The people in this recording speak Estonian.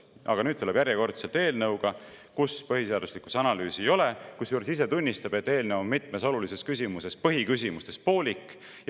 Aga nüüd ta järjekordselt tuleb eelnõuga, kus põhiseaduslikkuse analüüsi ei ole, kusjuures ta ise tunnistab, et eelnõu on mitmes olulises küsimuses, põhiküsimustes, poolik.